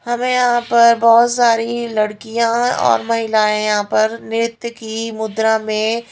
हमें यहाँ पर बहोत सारी लड़कियां और महिलाएं यहाँ पर नृत्य की मुद्रा में--